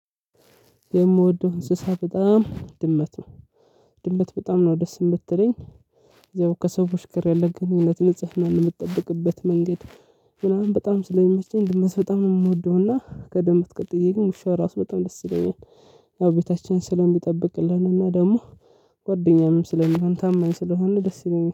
የምወደው እንስሳ በጣም ድመት ነው። ድመት በጣም ነው ደስ የምትለኝ እዛው ከሰዎች ጋር ያለ ግንኙነት ንጽህና ለምትጠብቅበት መንገድ ምናምን በጣም ስለሚመቸኝ ድመስ በጣም ነው የምወደውና ከድመት ቀጥዬ ግን ውሻ ራሱ በጣም ደስ ይለኛል። ያው ቤታችን ስለሚጠብቅልን እና ደግሞ ጓደኛም ስለሚሆን ታማኝ ስለሆነ ደስ ይለኛል።